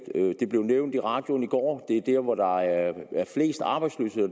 det blev nævnt i radioen i går det er der hvor der er flest arbejdsløse og